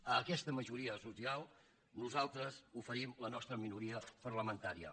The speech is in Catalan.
a aquesta majoria social nosaltres oferim la nostra minoria parlamentària